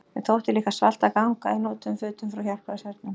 Mér þótti líka svalt að ganga í notuðum fötum frá Hjálpræðishernum.